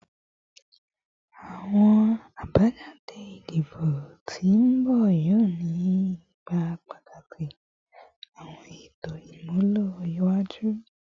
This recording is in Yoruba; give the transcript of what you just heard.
Awọn abajade idibo ti n bọ yoo ni ipa pataki awọn eto imulo iwaju